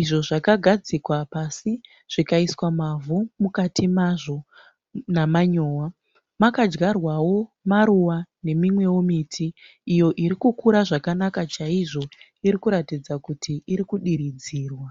izvo zvakagadzikwa pasi zvikaiswa mavhu mukati mazvo namanyowa. Makadyarwawo maruva nemimwe miti iyo iri kukura chaizvo. Inoratidza kuti iri kudiridzirwa.